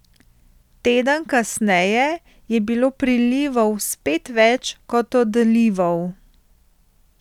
Teden kasneje je bilo prilivov spet več kot odlivov.